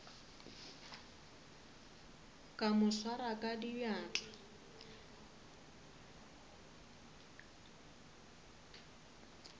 ka mo swara ka diatla